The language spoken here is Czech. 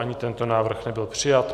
Ani tento návrh nebyl přijat.